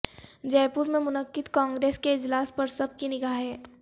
جے پور میں منعقد کانگریس کے اجلاس پر سب کی نگاہیں